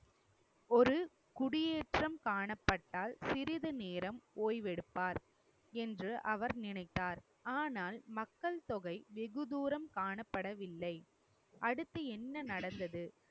ஒரு குடியேற்றம் காணப்பட்டால் சிறிது நேரம் ஓய்வெடுப்பார் என்று அவர் நினைத்தார். ஆனால் மக்கள் தொகை வெகு தூரம் காணப்படவில்லை அடுத்து என்ன நடந்தது?